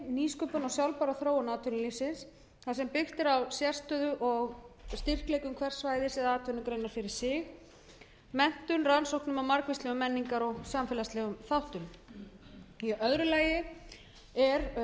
og sjálfbæra þróun atvinnulífsins þar sem byggt er á sérstöðu og styrkleika hvers svæðis eða atvinnugreinar fyrir sig menntun rannsóknum á margvíslegum menningar og samfélagslegum þáttum í öðru lagi er